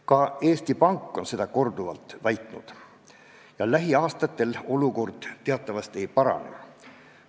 Ka Eesti Pank on seda korduvalt väitnud ja teatavasti lähiaastatel olukord ei parane.